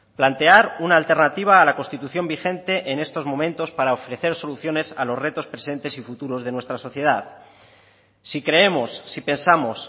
plantear una alternativa a la constitución vigente en estos momentos para ofrecer soluciones a los retos presentes y futuros de nuestra sociedad si creemos si pensamos